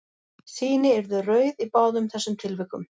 Sýni yrðu rauð í báðum þessum tilvikum.